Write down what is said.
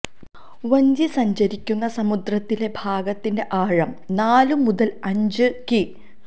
വഞ്ചി സഞ്ചരിക്കുന്ന സമുദ്രത്തിലെ ഭാഗത്തിന്റെ ആഴം നാലു മുതല് അഞ്ച് കി